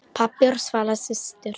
Pabbi og Svala systir.